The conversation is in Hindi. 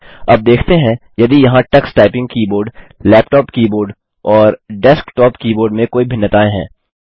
अब देखते हैं यदि यहाँ Tux typing keyboard laptop keyboard और डेस्कटॉप कीबोर्ड में कोई भिन्नताएँ हैं